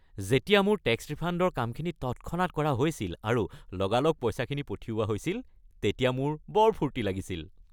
যেতিয়া মোৰ টেক্স ৰিফাণ্ডৰ কামখিনি তৎক্ষণাত কৰা হৈছিল আৰু লগালগ পইচাখিনি পঠিওৱা হৈছিল তেতিয়া মোৰ বৰ ফূৰ্তি লাগিছিল।